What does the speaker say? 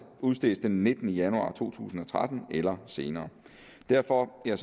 udstedt den nittende januar to tusind og tretten eller senere derfor er